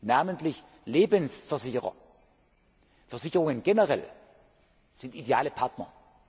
Namentlich Lebensversicherer, Versicherungen generell sind ideale Partner.